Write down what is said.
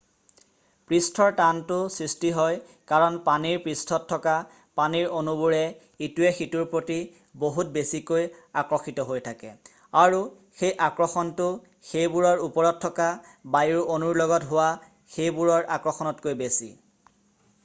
পৃষ্ঠৰ টানটো সৃষ্টি হয় কাৰণ পানীৰ পৃষ্ঠত থকা পানীৰ অনুবোৰ ইটোৱে সিটোৰ প্ৰতি বহুত বেছিকৈ আকৰ্ষিত হৈ থাকে আৰু সেই আকৰ্ষণটো সেইবোৰৰ ওপৰত থকা বায়ুৰ অনুৰ লগত হোৱা সেইবোৰৰ আকৰ্ষণতকৈ বেছি